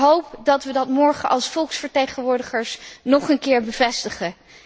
Ik hoop dat we dat morgen als volksvertegenwoordigers nog een keer bevestigen.